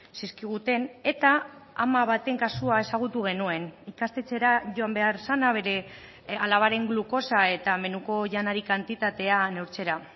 zizkiguten eta ama baten kasua ezagutu genuen ikastetxera joan behar zena bere alabaren glukosa eta menuko janari kantitatea neurtzera